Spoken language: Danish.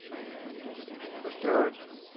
forstået